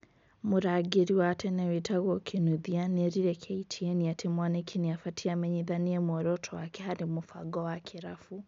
Mũrangiri wa tene wĩtagwo Kinuthia nĩ erire KTN atĩ Mwaniki ni abatie amenyithanie mũoroto wake harĩ mubango wa kĩrabu"